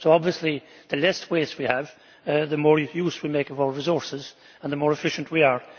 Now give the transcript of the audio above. Obviously the less waste we have, the more use we make of our resources and the more efficient we are.